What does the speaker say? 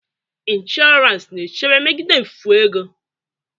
Insurance na-echebe megide mfu ego.